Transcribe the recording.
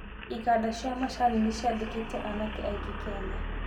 Iganda cia macani nĩ ciandĩkĩte aanake aingĩ Kenya